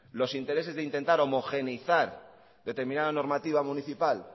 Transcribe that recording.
los intereses de intentar homogeneizar determinada normativa municipal